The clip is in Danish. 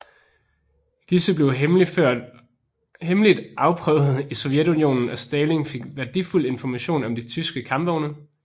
Disse blev hemmeligt afprøvet i Sovjetunionen og Stalin fik værdifuld information om de tyske kampvogne